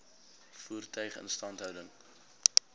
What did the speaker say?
voertuie instandhouding